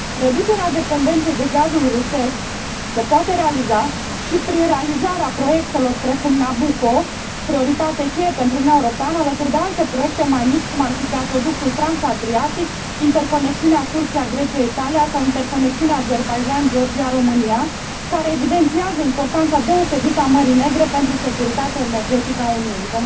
Reducerea dependenței de gazul rusesc se poate realiza și prin realizarea proiectelor, precum Nabucco, prioritate cheie pentru Uniunea Europeană, alături de alte proiecte mai mici, cum ar fi gazoductul transadriatic, interconexiunea Turcia Grecia Italia sau interconexiunea Azerbaidjan Georgia România, care evidențiază importanța deosebită a Mării Negre pentru securitatea energetică a Uniunii.